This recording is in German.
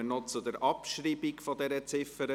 Wir kommen zur Abschreibung der Ziffer